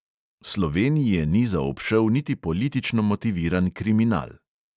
Slovenije ni zaobšel niti politično motiviran kriminal.